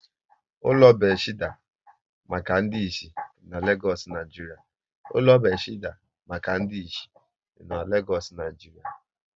Ụlọ Bethesda maka ndị isi dị n'Legoosu, Naijiria